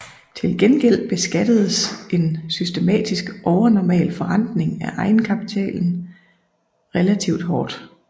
Til gengæld beskattedes en systematisk overnormal forrentning af egenkapitalen relativt hårdt